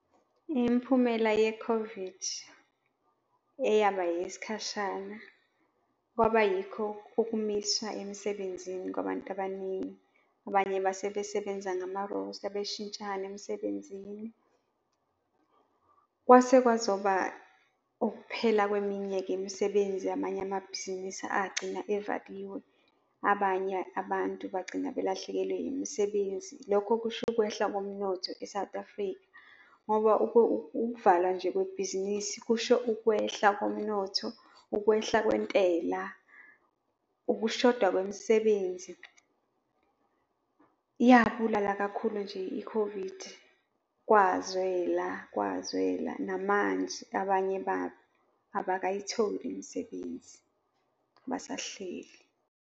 Imiphumela ye-COVID eyaba eyesikhashana kwaba yikho ukumiswa emsebenzini kwabantu abaningi, abanye base besebenza ngamarosta, beshintshana emsebenzini. Kwase kwazoba ukuphela kweminye-ke imisebenzi, amanye amabhizinisi agcina evaliwe. Abanye abantu bagcina belahlekelwe imisebenzi. Lokho kusho ukwehla komnotho e-South Africa ngoba ukuvalwa nje kwebhizinisi kusho ukwehla komnotho, ukwehla kwentela, ukushoda kwemisebenzi. Yabulala kakhulu nje i-COVID kwazwela, kwazwela namanje abanye babo abakayitholi imisebenzi, basahleli.